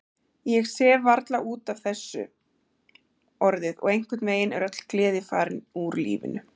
Ég sef varla út af þessu orðið og einhvernveginn er öll gleði farin úr lífinu.